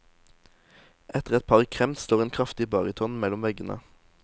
Etter et par kremt slår en kraftig baryton mellom veggene.